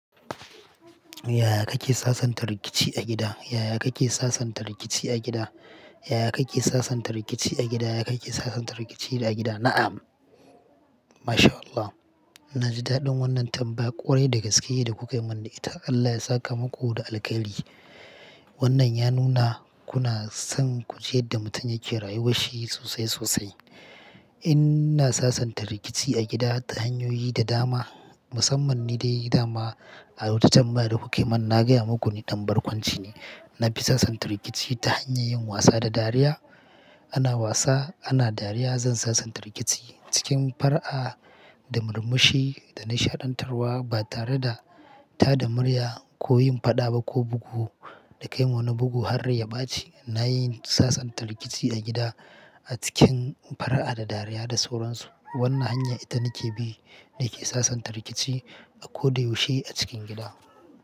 Yaya kake sasanta rikici a gida? Yaya kake sasanta rikici a gida? Yaya kake sasanta rikici a gida? Yaya kake sasanta rikici a gida? Na'am. Masha Allah. Na ji daɗin wannan tambaya kwarai dai dagaske da kuka yi mana ita. Allah ya saka maku da alkhairi. Wannan ya nuna kuna son ku ji yadda mutum yake rayuwar shi sosai sosai. Ina sasanta rikici a gida ta hanyoyi da dama, musamman nidai dama a wata tambaya da kuka yi mana, na gaya muku ne ɗan barkwanci ne. Na fi sasanta rikici ta hanyar yin wasa da dariya. Ana wasa, ana dariya, zan sasanta rikici cikin far'a da murmushi da nishaɗantarwa ba tare da taɗa murya ko yin faɗa ba ko bugu da kai wa wani bugu har rai ya ɓaci. Na yi sasanta rikici a gida a cikin fara'a da dariya da sauransu. Wannan hanya ita nake bi na ke sasanta rikici a koda yaushe a cikin gida.